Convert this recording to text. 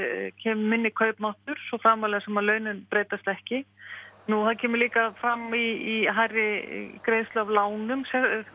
minni kaupmáttur svo framarlega sem að launin breytast ekki það kemur líka fram í hærri greiðslu af lánum